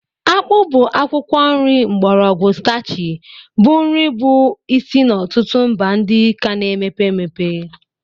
Akpu bụ akwụkwọ nri mgbọrọgwụ starchy bụ nri bụ isi n'ọtụtụ mba ndị ka na-emepe emepe.